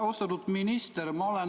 Austatud minister!